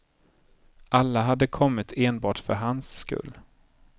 Alla hade kommit enbart för hans skull.